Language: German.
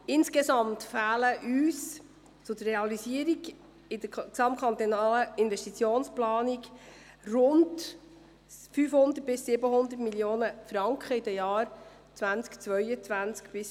Insgesamt fehlen uns zur Realisierung in der gesamtkantonalen Investitionsplanung rund 500–700 Mio. Franken in den Jahren 2022– 2027.